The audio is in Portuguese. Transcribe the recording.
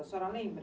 A senhora lembra?